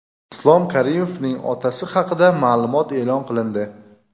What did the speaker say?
Islom Karimovning otasi haqida ma’lumot e’lon qilindi.